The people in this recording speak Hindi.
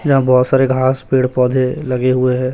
यहां बहुत सारे घास पेड़ पौधे लगे हुए है।